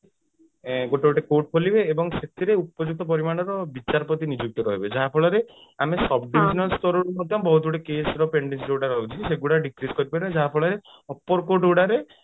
ଗୋଟେ ଗୋଟେ court ଖୋଲିବେ ଏବଂ ସେଥିରେ ଉପଯୁକ୍ତ ପରିମାଣର ବିଚାରପତି ନିଯୁକ୍ତ କରିବେ ଯାହା ଫଳରେ ଆମେ sub divisional ସ୍ତରରୁ ମଧ୍ୟ ବହୁତ ଗୁଡେ case ର ଯୋଉଟା ରହୁଛି ସେଇଗୁଡା decrease କରି ପାରିବା ଯାହା ଫଳରେ upper court ଗୁଡାରେ